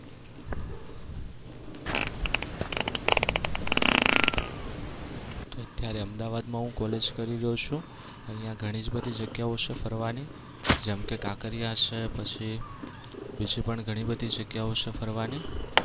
અત્યારે અમદાવાદમાં હું college કરી રહ્યો છું. અહિયાં ઘણી જ બધી જગ્યાઓ છે ફરવાની. જેમ કે કાંકરિયા છે પછી બીજી પણ ઘણી બધી જગ્યાઓ છે ફરવાની.